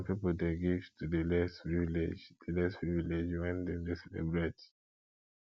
some pipo de give to di less privileged di less privileged when dem de celebrate